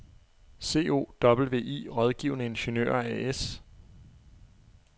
COWI Rådgivende Ingeniører AS